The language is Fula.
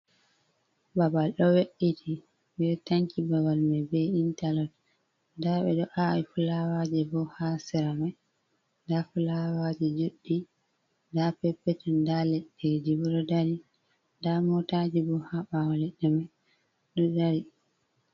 Babal ɗo we'iti, ɓe tanki babal mai be intalok nda ɓe ɗo awi fulawaji bo ha seramai, nda fulawaji juɗɗi nda oepetel nda leɗɗe ji bo ɗo dari nda motaji bo ha ɓawa leɗɗe mai ɗo dari.